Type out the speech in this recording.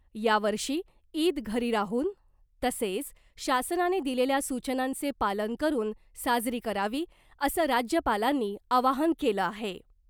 यावर्षी ईद घरी राहून तसेच शासनाने दिलेल्या सूचनांचे पालन करून साजरी करावी असं राज्यपालांनी आवाहन केलं आहे .